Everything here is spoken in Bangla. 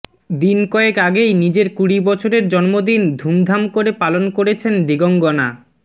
দিন কয়েক আগেই নিজের কুড়ি বছরের জন্মদিন ধুমধাম করে পালন করেছেন দিগঙ্গনা